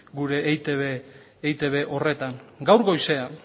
gure eitb horretan gaur goizean